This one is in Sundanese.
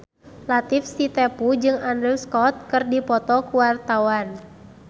Latief Sitepu jeung Andrew Scott keur dipoto ku wartawan